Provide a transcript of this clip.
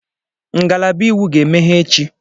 Ngalaba Iwu ga-emeghe echi.